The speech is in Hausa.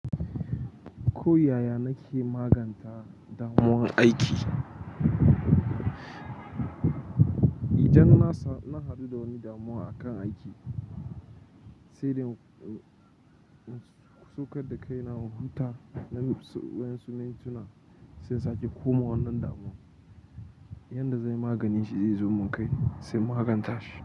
Ko yaya nake maganta damuwan aiki, idan na haɗu da wani damuwa akan aiki, sai dai na saukar da kaina in huta. Na wasu mintuna sai in sake komawa wannan damuwa. Yanda zanyi maganinshi zai zo mun kai sai in maganta shi.